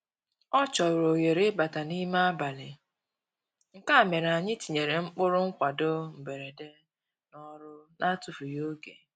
Ọ chọrọ ohere ịbata n'ime abalị, nke a mere anyị tinyere ụkpụrụ nkwado mberede n'ọrụ na-atụfughị oge